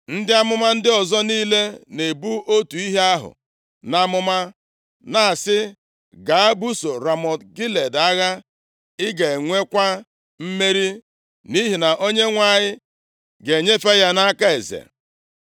Ndị amụma ndị ọzọ niile na-ebu otu ihe ahụ nʼamụma, na-asị, “Gaa, busoo Ramọt Gilead agha, ị ga-enwekwa mmeri, nʼihi na Onyenwe anyị ga-enyefe ya nʼaka eze.”